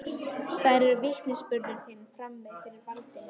Þær eru vitnisburður þinn frammi fyrir valdinu.